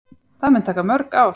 Það mun taka mörg ár.